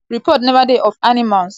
report neva dey of animals attacking humans.